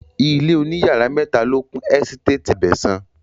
Ilé òní yàrá mẹ́ta ló kún ẹ́sítétì Abẹ̀sán